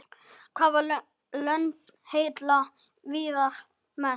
Hvaða lönd heilla Viðar mest?